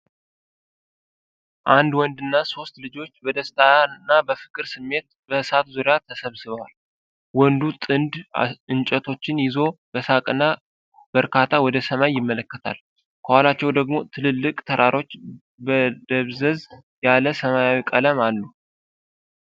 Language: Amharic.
አንድ ወንድና ሦስት ልጆች በደስታና በፍቅር ስሜት በእሳት ዙሪያ ተሰብስበዋል። ወንዱ ጥንድ እንጨቶችን ይዞ በሳቅና በእርካታ ወደ ሰማይ ይመለከታል። ከኋላቸው ደግሞ ትልልቅ ተራሮች በደብዘዝ ያለ ሰማያዊ ቀለም አሉ።